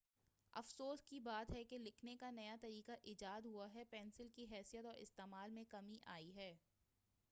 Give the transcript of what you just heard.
افسوس کی بات ہے کہ لکھنے کا نیا طریقہ ایجاد ہوا ہے پینسل کی حیثیت اور استعمال میں کمی آئی ہے